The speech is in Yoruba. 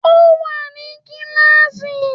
Ó wà ní kíáàsì